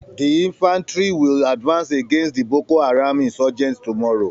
The infantry will advance against the Boko Haram insurgents tomorrow